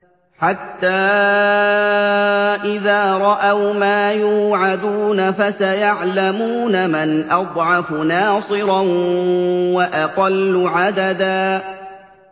حَتَّىٰ إِذَا رَأَوْا مَا يُوعَدُونَ فَسَيَعْلَمُونَ مَنْ أَضْعَفُ نَاصِرًا وَأَقَلُّ عَدَدًا